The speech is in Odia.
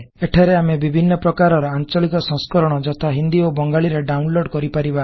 ଏଠାରେ ଆମେ ବିଭିନ୍ନ ପ୍ରକାରର ଆଂଚଳିକ ସଂସ୍କରଣ ଯଥା ହିନ୍ଦୀ ଓ ବଙ୍ଗାଳୀ ରେ ଡାଉନଲୋଡ କରିପରିବା